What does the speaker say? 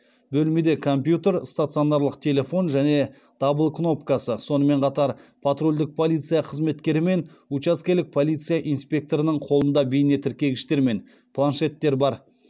бөлмеде компьютер стационарлық телефон және дабыл кнопкасы сонымен қатар патрульдік полиция қызметкері мен учаскелік полиция инспекторының қолында бейнетіркегіштер мен планшеттер бар